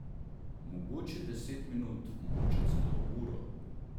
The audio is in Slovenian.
Mogoče deset minut, mogoče celo uro.